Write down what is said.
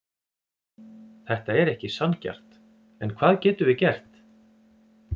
Þetta er ekki sanngjarnt, en hvað getum við gert?